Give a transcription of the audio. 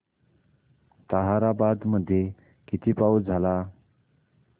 ताहराबाद मध्ये किती पाऊस झाला